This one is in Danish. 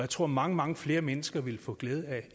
tror mange mange flere mennesker ville få glæde af